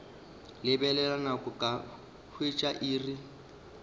lebelela nako ka hwetša iri